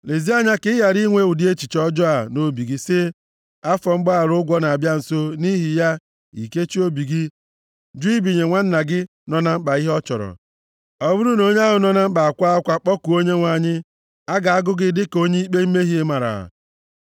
Lezie anya ka ị ghara inwe ụdị echiche ọjọọ a nʼobi gị sị, “Afọ mgbaghara ụgwọ na-abịa nso,” nʼihi ya, i kechie obi gị jụ ibinye nwanna gị nọ na mkpa ihe ọ chọrọ. Ọ bụrụ na onye ahụ nọ na mkpa akwaa akwa kpọkuo Onyenwe anyị, a ga-agụ gị dịka onye ikpe mmehie mara.